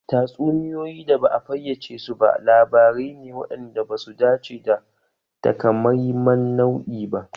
Tatsuniyoyi da ba a fayyace su ba labarai ne waɗanda ba su dace da takamaiman nau'i ba.